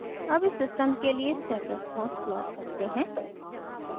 अब इस सिस्टम के लिए step response प्लॉट करते हैं